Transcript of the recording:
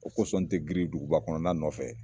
O kosɔn n te giiri duguba kɔnɔnana nɔfɛ